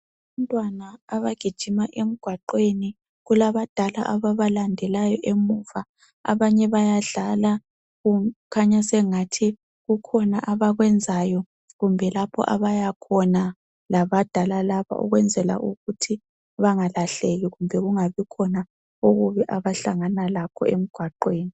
Abantwana abagijimayo emgwaqeni kulabadala ababalandelayo emuva abanye bayadlala kukhanya sengathi kukhona abakwenzayo kumbe lapho abayakhona labadala laba ukwenzala ukuthi bengalahleki kumbe abahlangana lakho emgwaqeni